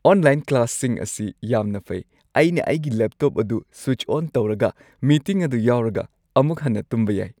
Online ꯀ꯭ꯂꯥꯁꯁꯤꯡ ꯑꯁꯤ ꯌꯥꯝꯅ ꯐꯩ꯫ ꯑꯩꯅ ꯑꯩꯒꯤ ꯂꯦꯞꯇꯣꯞ ꯑꯗꯨ ꯁ꯭ꯋꯤꯆ ꯑꯣꯟ ꯇꯧꯔꯒ, ꯃꯤꯇꯤꯡ ꯑꯗꯨ ꯌꯥꯎꯔꯒ ꯑꯃꯨꯛ ꯍꯟꯅ ꯇꯨꯝꯕ ꯌꯥꯏ꯫